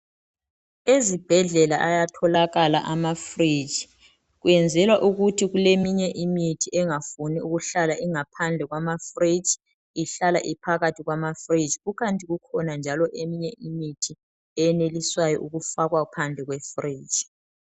Ezibhedlela ayatholakala ama fridge kwenzelwa ukuthi kuleminye imithi engafuni ukuhlala ingaphandle kwamafridge ihlala ophakathi kwama fridge kukanti ikhona njalo eminye imithi eyenelisayo ukufakwa phandle kwe fridge.